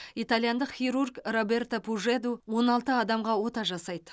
итальяндық хирург роберто пужеду он алты адамға ота жасайды